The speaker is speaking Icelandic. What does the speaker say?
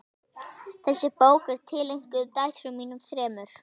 Þessi bók er tileinkuð dætrum mínum þremur.